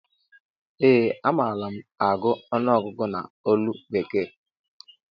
Ee a malu mụ agụ ọnụọgụgụ ná olu bekee